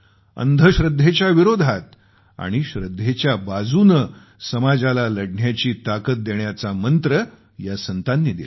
अंधश्रद्धेच्या विरोधात समाजाला लढण्याची ताकद देण्याचा मंत्र या संतांनी दिला